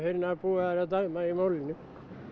búið að dæma í málinu